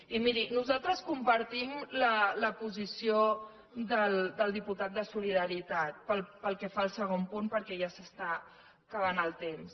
i miri nosaltres compartim la posició del diputat de solidaritat pel que fa al segon punt perquè ja s’està acabant el temps